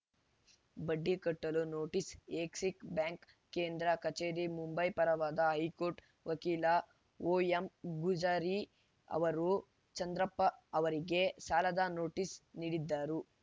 ಬಡ್ಡಿ ಕಟ್ಟಲು notice Axis bank ಕೇಂದ್ರ ಕಚೇರಿ ಮುಂಬೈ ಪರವಾದ ಹೈಕೋರ್ಟ್‌ ವಕೀಲ ಓಎಂಗುಜರಿ ಅವರು ಚಂದ್ರಪ್ಪ ಅವರಿಗೆ ಸಾಲದ ನೋಟಿಸ್‌ ನೀಡಿದ್ದರು